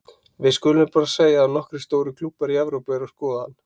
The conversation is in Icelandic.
Við skulum bara að segja að nokkrir stórir klúbbar í Evrópu eru að skoða hann.